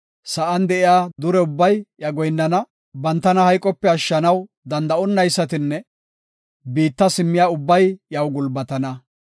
Sa7an de7iya dure ubbay iya goyinnana; bantanan hayqope ashshanaw danda7onaysatinne biitta simmiya ubbay iyaw gulbatana.